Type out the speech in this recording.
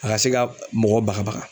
A ka se ka mɔgɔ baka baka.